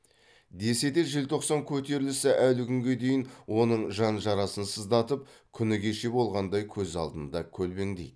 десе де желтоқсан көтерілісі әлі күнге дейін оның жан жарасын сыздатып күні кеше болғандай көз алдында көлбеңдейді